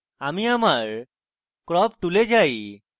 আমি আমার crop tool যাই